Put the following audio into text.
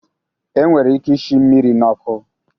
E nwere ike ishi mmiri n'ọkụ